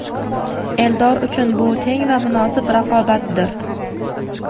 Eldor uchun bu teng va munosib raqobatdir.